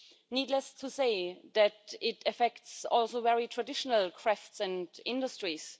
Needless to say, it also affects very traditional crafts and industries.